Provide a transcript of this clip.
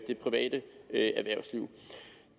det private erhvervsliv